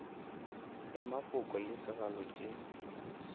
ya mafoko le segalo tše